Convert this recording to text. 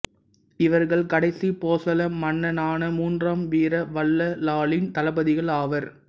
இவர்கள் கடைசி போசள மன்னனான மூன்றாம் வீர வல்லாளனின் தளபதிகள் ஆவர்